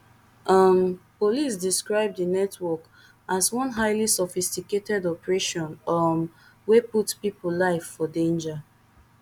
um police describe di network as one highly sophisticated operation um wey put pipo life for danger